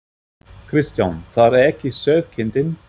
Kristján: Það er ekki sauðkindin?